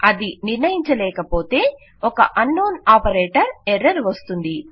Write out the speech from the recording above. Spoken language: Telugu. అది నిర్ణయించలేక పోతే ఒక అన్నోన్ ఆపరేటర్ ఎర్రర్ వస్తుంది